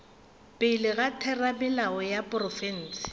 pele ga theramelao ya profense